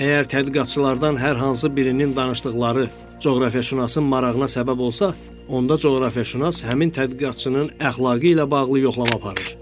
Əgər tədqiqatçılardan hər hansı birinin danışdıqları coğrafiyaşünasın marağına səbəb olsa, onda coğrafiyaşünas həmin tədqiqatçının əxlaqı ilə bağlı yoxlama aparır.